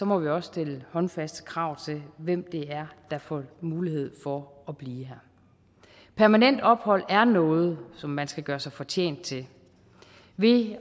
må vi også stille håndfaste krav til hvem det er der får mulighed for at blive her permanent ophold er noget som man skal gøre sig fortjent til ved